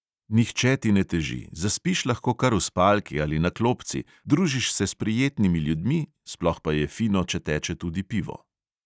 Nihče ti ne teži, zaspiš lahko kar v spalki ali na klopci, družiš se s prijetnimi ljudmi, sploh pa je fino, če teče tudi pivo.